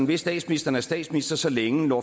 hvis statsministeren er statsminister så længe